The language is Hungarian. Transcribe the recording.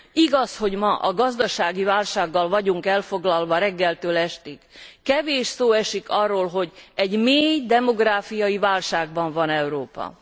Igaz, hogy ma a gazdasági válsággal vagyunk elfoglalva reggeltől estig, kevés szó esik arról, hogy mély demográfiai válságban van Európa.